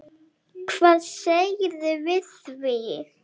Hvað segirðu við því?